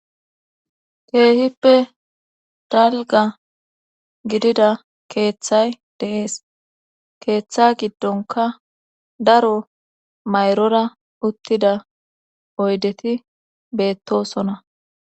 Keehippe dalga gidida keeththay deees keeththa giddonka daro mayrora uttida oydeti beettosona.